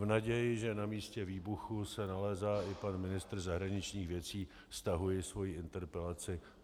V naději, že na místě výbuchu se nalézá i pan ministr zahraničních věcí, stahuji svoji interpelaci.